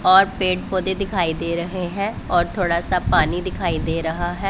और पेड़ पौधे दिखाई दे रहे हैं और थोड़ा सा पानी दिखाई दे रहा है।